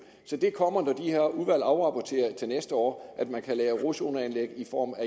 så det kommer når det her udvalg afrapporterer til næste år altså at man kan lave rodzoneanlæg i form af